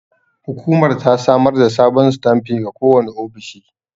Hukumar ta samar da sabon sitanfi ga kowane ofishi.